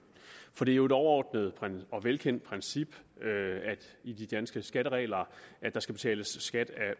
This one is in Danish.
for det er jo et overordnet og velkendt princip i de danske skatteregler at der skal betales skat af